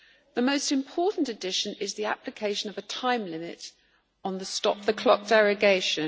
The most important addition is the application of a time limit on the stop the clock' derogation.